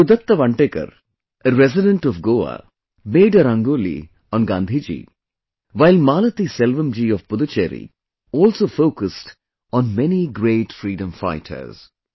Gurudutt Vantekar, a resident of Goa, made a Rangoli on Gandhiji, while Malathiselvam ji of Puducherry also focused on many great freedom fighters